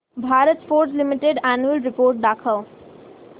Bharat Forge limited annual report दाखव